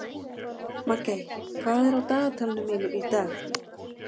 Maggey, hvað er á dagatalinu mínu í dag?